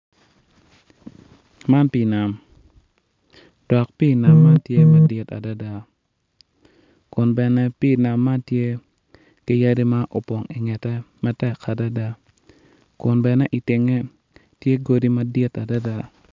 Man pii nam dok pii nam man tye madit adada kun bene pii nam man tye ki yadi ma opong ingete adada kun bene itenge tye yadi madit adada.